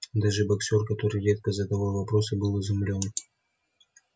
даже боксёр который редко задавал вопросы был изумлён